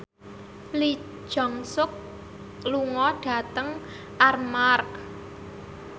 Lee Jeong Suk lunga dhateng Armargh